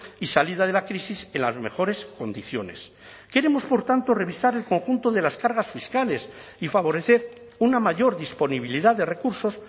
y salida de la crisis en las mejores condiciones queremos por tanto revisar el conjunto de las cargas fiscales y favorecer una mayor disponibilidad de recursos